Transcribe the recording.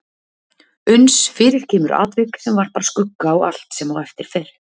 Uns fyrir kemur atvik sem varpar skugga á allt sem á eftir fer.